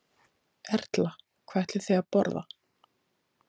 Erla: Hvað ætlið þið að borða?